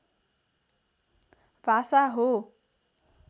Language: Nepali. भाषा हो